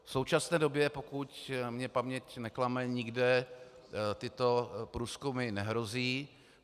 V současné době, pokud mě paměť neklame, nikde tyto průzkumy nehrozí.